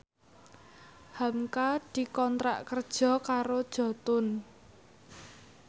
hamka dikontrak kerja karo Jotun